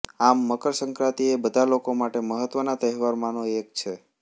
આમ મકરસંક્રાંતિ એ બધા લોકો માટે મહત્વનાં તહેવારોમાંનો એક છે